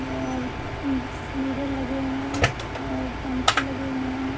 और उम मिरर लगे हुए हैं और पंखे लगे हुए हैं --